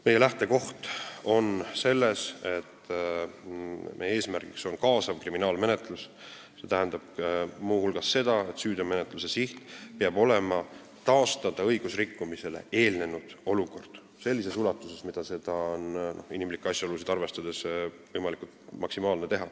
Meie lähtekoht on see, et eesmärk on kaasav kriminaalmenetlus, st muu hulgas seda, et süüteo menetlemise siht peab olema õigusrikkumisele eelnenud olukorra taastamine sellises ulatuses, mis inimlikke asjaolusid arvestades on võimalik.